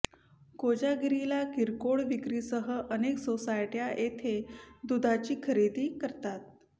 कोजागिरीला किरकोळ विक्रीसह अनेक सोसायट्या येथे दुधाची खरेदी करतात